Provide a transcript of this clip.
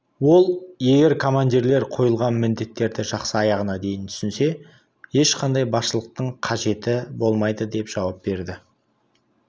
ол егер командирлер қойылған міндеттерді жақсы аяғына дейін түсінсе ешқандай басшылықтың қажеті болмайды деп жауап берді